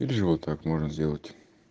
или же вот так можно сделать